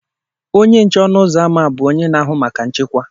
Onye nche ọnụ ụzọ ámá bụ onye na-ahụ maka nchekwa.